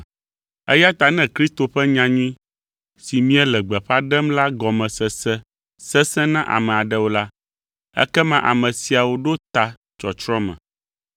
Eya ta ne Kristo ƒe nyanyui si míele gbeƒã ɖem la gɔme sese sesẽ na ame aɖewo la, ekema ame siawo ɖo ta tsɔtsrɔ̃ me.